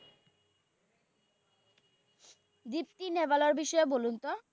দীপ্তি নাভালের বিষয়ে বলুন তো?